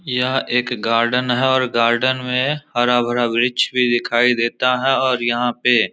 यह एक गार्डन है और गार्डन में हरा-भरा वृक्ष भी दिखाई देता है और यहां पे --